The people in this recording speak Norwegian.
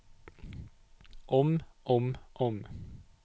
om om om